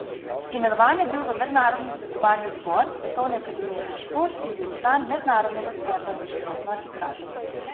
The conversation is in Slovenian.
Imenovan je bil v Mednarodni svetovalni odbor Svetovne akademije za šport in bil član Mednarodnega sveta za športno arbitražo.